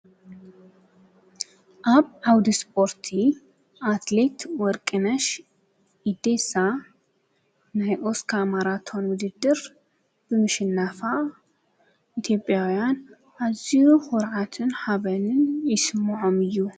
ኣብ ዓውዲ ስፖርቲ አትሌት ወርቅነሽ ኢዴሳ ናይ ኦስካ መራቶን ዉድድር ብምሽናፋ ኢትዮጵያውያን ኣዝዩ ኩርዓት ሓበንን ይስሞዖም እዩ።